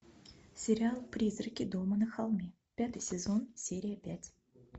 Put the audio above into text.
сериал призраки дома на холме пятый сезон серия пять